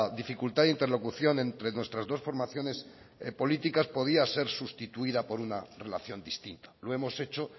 dificultad de interlocución entre nuestras dos formaciones políticas podía ser sustituida por una relación distinta lo hemos hecho